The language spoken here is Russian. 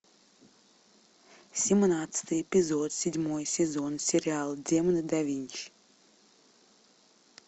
семнадцатый эпизод седьмой сезон сериал демоны да винчи